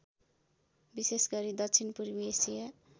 विशेषगरी दक्षिणपूर्वी एसिया